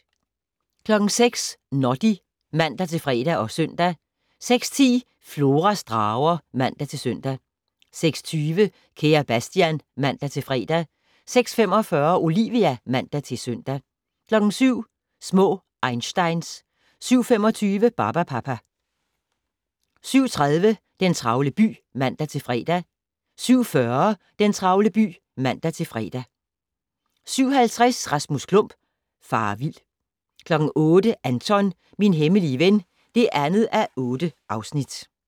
06:00: Noddy (man-fre og -søn) 06:10: Floras drager (man-søn) 06:20: Kære Sebastian (man-fre) 06:45: Olivia (man-søn) 07:00: Små einsteins 07:25: Barbapapa 07:30: Den travle by (man-fre) 07:40: Den travle by (man-fre) 07:50: Rasmus Klump - farer vild 08:00: Anton - min hemmelige ven (2:8)